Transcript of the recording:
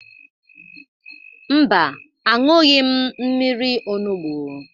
Mba, aṅụghị m mmiri onugbu.